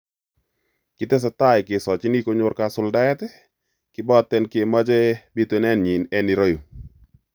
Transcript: "kitesetai kesochini konyor kasuldaet kibaten kimoche bitunenyin en ireyu.